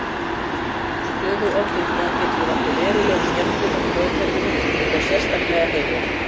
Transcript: Stöðug ofdrykkja getur valdið verulegum skemmdum á taugakerfinu og þá sérstaklega heila.